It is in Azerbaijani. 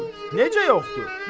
Necə yoxdur?